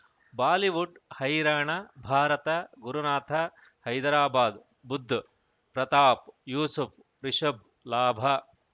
Bollywood ಹೈರಾಣ ಭಾರತ ಗುರುನಾಥ ಹೈದರಾಬಾದ್ ಬುಧ್ ಪ್ರತಾಪ್ ಯೂಸುಫ್ ರಿಷಬ್ ಲಾಭ